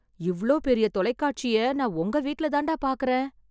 இவ்ளோ பெரிய்ய தொலைக்காட்சிய நான் உங்க வீட்ல தாண்டா பாக்கறேன்.